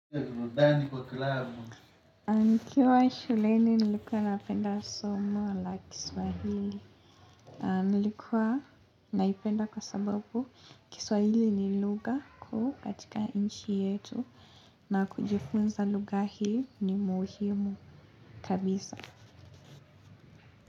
Nikiwa shuleni nilikuwa napenda somo la kiswahili. Nilikuwa naipenda kwa sababu, kiswahili ni lugha katika nchi yetu na kujifunza lugha hii ni muhimu kabisa.